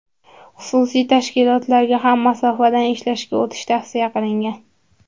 Xususiy tashkilotlarga ham masofadan ishlashga o‘tish tavsiya qilingan.